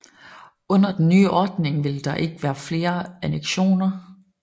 Under den nye ordning ville der ikke være flere annektioner